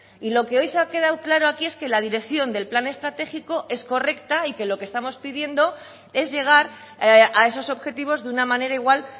y lo que hoy se ha quedado claro aquí es que la dirección del plan estratégico es correcta y que lo que estamos pidiendo es llegar a esos objetivos de una manera igual